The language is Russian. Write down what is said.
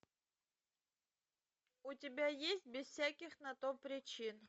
у тебя есть без всяких на то причин